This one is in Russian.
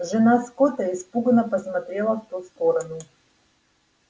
жена скотта испуганно посмотрела в ту сторону